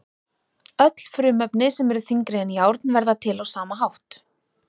Öll frumefni sem eru þyngri en járn verða til á sama hátt.